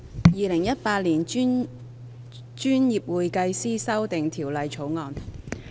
《2018年專業會計師條例草案》。